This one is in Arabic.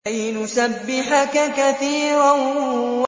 كَيْ نُسَبِّحَكَ كَثِيرًا